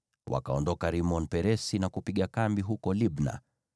Wakaondoka Rimon-Peresi na kupiga kambi huko Libna.